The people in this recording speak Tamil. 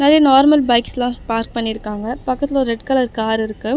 வெளிய நார்மல் பைக்ஸ்லா பார்க் பண்ணிருக்காங்க பக்கத்துல ஒரு ரெட் கலர் கார் இருக்கு.